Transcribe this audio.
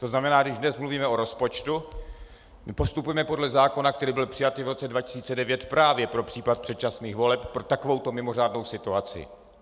To znamená, když dnes mluvíme o rozpočtu, postupujeme podle zákona, který byl přijat i v roce 2009 právě pro případ předčasných voleb, pro takovouto mimořádnou situaci.